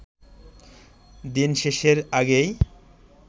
দিন শেষের আগেই